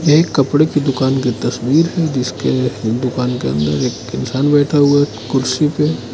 ये एक कपड़े की दुकान की तस्वीर है जिसके दुकान के अंदर एक इंसान बैठा हुआ कुर्सी पे।